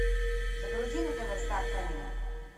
загрузи на тв стар фэмили